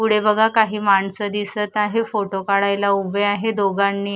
पुढे बघा काही माणसं दिसत आहे फोटो काढायला उभे आहे दोघांनी--